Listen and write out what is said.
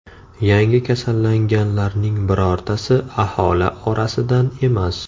Yangi kasallanganlarning birortasi aholi orasidan emas.